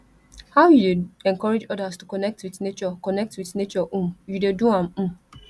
how you dey encourage odas to connect with nature connect with nature um you dey do am um